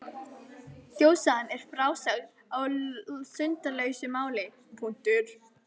Þjóðsagan er frásögn í sundurlausu máli.